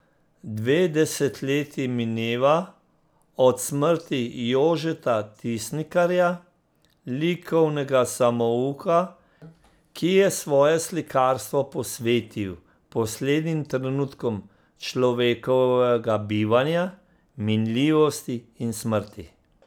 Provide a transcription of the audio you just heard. Dve desetletji mineva od smrti Jožeta Tisnikarja, likovnega samouka, ki je svoje slikarstvo posvetil poslednjim trenutkom človekovega bivanja, minljivosti in smrti.